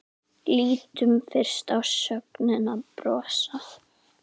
Lítum fyrst á sögnina brosa: